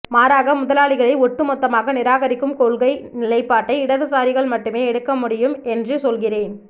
மாறாக முதலாளிகளை ஒட்டுமொத்தமாக நிராகரிக்கும் கொள்கை நிலைபாட்டை இடதுசாரிகள் மட்டுமே எடுக்கமுடியும் என்று சொல்கிறேன்